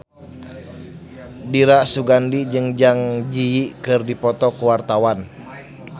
Dira Sugandi jeung Zang Zi Yi keur dipoto ku wartawan